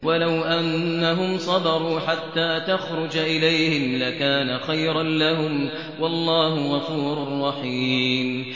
وَلَوْ أَنَّهُمْ صَبَرُوا حَتَّىٰ تَخْرُجَ إِلَيْهِمْ لَكَانَ خَيْرًا لَّهُمْ ۚ وَاللَّهُ غَفُورٌ رَّحِيمٌ